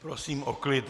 Prosím o klid.